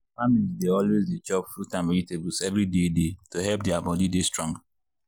families dey always dey chop fruit and vegetables every day day to help their body dey strong.